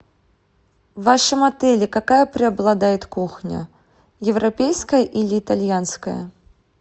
в вашем отеле какая преобладает кухня европейская или итальянская